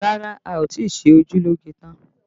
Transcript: Rárá, a ò tí ì ṣe ojú lóge tán